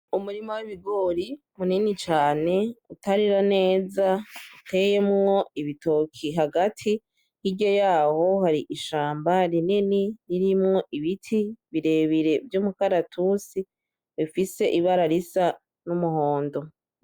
Umurima w'ibigori munini cane utarera neza uteyemwo ibitoki hagati hirya yaho hari ishamba rinini ririmwo ibiti birebire vy'umukaratusi rifise ibara risa n'umuhondo.